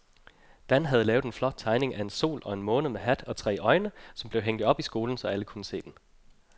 Dan havde lavet en flot tegning af en sol og en måne med hat og tre øjne, som blev hængt op i skolen, så alle kunne se den.